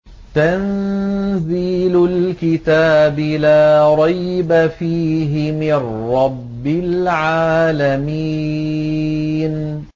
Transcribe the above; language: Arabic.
تَنزِيلُ الْكِتَابِ لَا رَيْبَ فِيهِ مِن رَّبِّ الْعَالَمِينَ